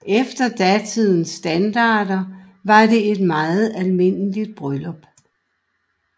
Efter datidens standarder var det et meget almindeligt bryllup